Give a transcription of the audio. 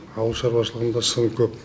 ауыл шаруашылығында сын көп